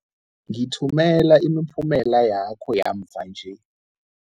Ngithumela imiphumela yakho yamva nje.